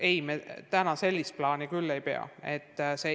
Ei, me täna sellist plaani küll ei pea.